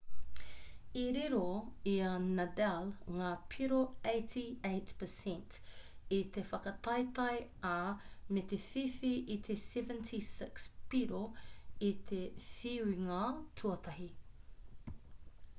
i riro i a nadal ngā piro 88% i te whakataetae ā me te whiwhi i te 76 piro i te whiunga tuatahi